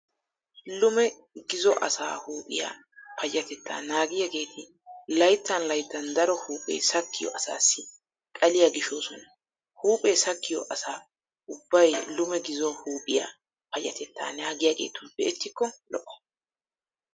Lume gizo asaa huuphphiyaa payyatettaa naagiyaageeti layttan layttan daro huuphe sakkiyo asaassi xaliyaa gishoosona. Huuphe sakkiyo asa ubbay lume gizo huuphphiyaa payyatettaa naagiyaageetun be'ettikko lo'o.